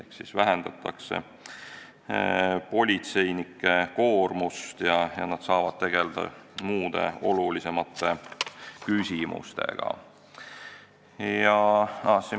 Ehk vähendatakse politseinike koormust ja nad saavad tegelda muude, olulisemate küsimustega.